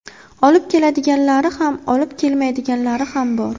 Olib keladiganlari ham, olib kelmaydiganlari ham bor.